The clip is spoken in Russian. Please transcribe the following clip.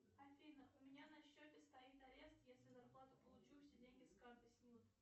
афина у меня на счете стоит арест если зарплату получу все деньги с карты снимут